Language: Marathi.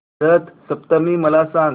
रथ सप्तमी मला सांग